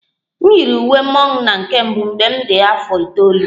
M yiri uwe mmọnwụ na nke mbụ mgbe m dị afọ itoolu